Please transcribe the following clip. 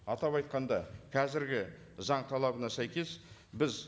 атап айтқанда қазіргі заң талабына сәйкес біз